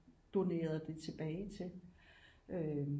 Donerede det tilbage til